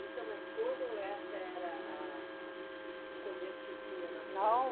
Isso é uma escolha ou essa era a, a, o convento que tinha na sua. Não